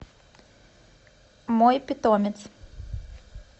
мой питомец